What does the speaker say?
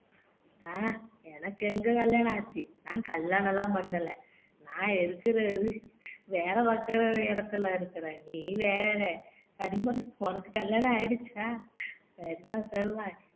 அஹ் எனக்கு எங்க கல்யாணம் ஆச்சு நான் கல்யாணம் எல்லாம் பண்ணல, நான் இருக்குறது வேலை பாக்குற இடத்துல இருக்குறேன் நீ வேற கனிமொழி உனக்கு கல்யாணம் ஆயிடுச்சா சரிதான் சரிதான்